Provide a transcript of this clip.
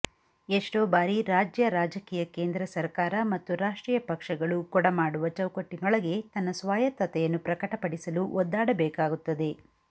ಎಷ್ಟೋ ಬಾರಿ ರಾಜ್ಯ ರಾಜಕೀಯ ಕೇಂದ್ರ ಸರಕಾರ ಮತ್ತು ರಾಷ್ಟ್ರೀಯ ಪಕ್ಷಗಳು ಕೊಡಮಾಡುವ ಚೌಕಟ್ಟಿನೊಳಗೆ ತಮ್ಮ ಸ್ವಾಯತ್ತತೆಯನ್ನು ಪ್ರಕಟಪಡಿಸಲು ಒದ್ದಾಡಬೇಕಾಗುತ್ತದೆ